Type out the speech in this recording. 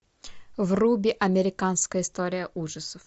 вруби американская история ужасов